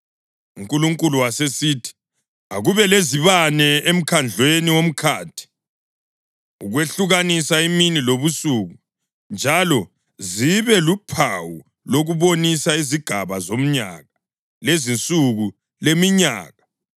UNkulunkulu wasesithi, “Akube lezibane emkhandlwini womkhathi ukwehlukanisa imini lobusuku, njalo zibe luphawu lokubonisa izigaba zomnyaka, lezinsuku leminyaka,